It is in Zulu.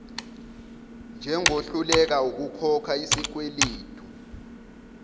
njengohluleka ukukhokha isikweledu